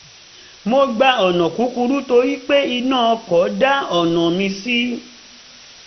mo gba ọ̀nà kúkúrú torí pé iná ọkọ̀ dá ọ̀nà mí ṣí